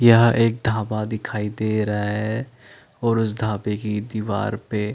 यहां एक ढाबा दिखाई दे रहा है और उस ढाबे की दिवार पे--